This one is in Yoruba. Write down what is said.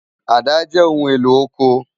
Àdá jè óoún éló ókó